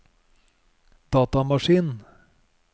datamaskin